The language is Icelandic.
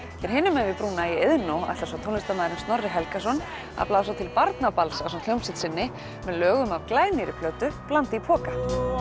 hér hinum megin við brúna í Iðnó ætlar svo tónlistarmaðurinn Snorri Helgason að blása til barnaballs ásamt hljómsveit sinni með lögum af glænýrri plötu blandi í poka